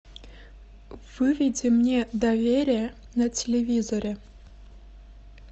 выведи мне доверие на телевизоре